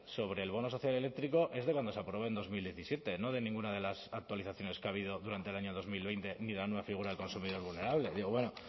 sobre el bono social eléctrico es de cuando se aprobó en dos mil diecisiete no de ninguna de las actualizaciones que ha habido durante el año dos mil veinte ni la nueva figura del consumidor vulnerable digo bueno